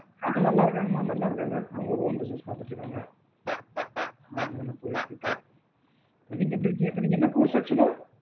நல்லாருக்காங்க மா நல்லாருக்காங்க அவுங்க own business பாத்துட்டுருக்காங்க ஆ நல்லாப்போய்ட்டு இருக்கு